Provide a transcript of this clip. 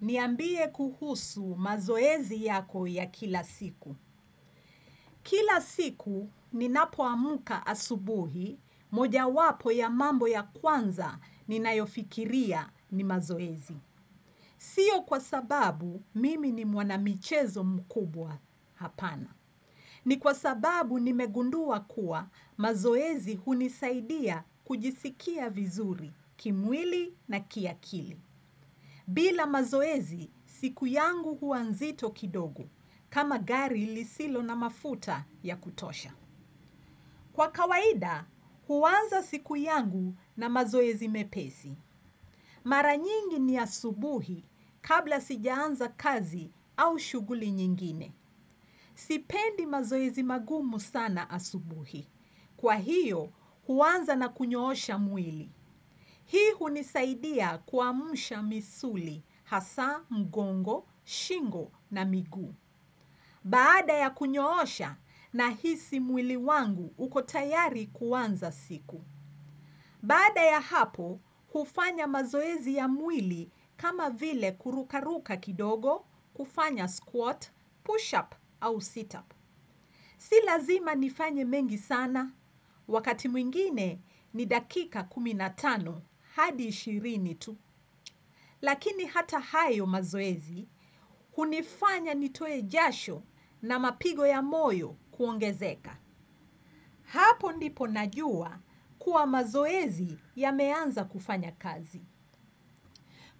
Niambie kuhusu mazoezi yako ya kila siku. Kila siku ninapo amka asubuhi, moja wapo ya mambo ya kwanza ni nayofikiria ni mazoezi. Sio kwa sababu mimi ni mwanamichezo mkubwa hapana. Ni kwa sababu nime gundua kuwa mazoezi hunisaidia kujisikia vizuri, kimwili na kiakili. Bila mazoezi siku yangu hua nzito kidogo, kama gari ilisilo na mafuta ya kutosha. Kwa kawaida, huanza siku yangu na mazoezi mepezi. Maranyingi ni asubuhi kabla sijaanza kazi au shuguli nyingine. Sipendi mazoezi magumu sana asubuhi. Kwa hiyo, huanza na kunyoosha mwili. Hii hunisaidia kuamsha misuli, hasa, mgongo, shingo na miguu. Baada ya kunyoosha nahisi mwili wangu uko tayari kuanza siku. Baada ya hapo, hufanya mazoezi ya mwili kama vile kurukaruka kidogo, hufanya squat, push up au sit up. Si lazima nifanye mengi sana, wakati mwingine ni dakika kumi na tano, hadi ishirini tu. Lakini hata hayo mazoezi, hunifanya nitoe jasho na mapigo ya moyo kuongezeka. Hapo ndipo najua kuwa mazoezi yameanza kufanya kazi.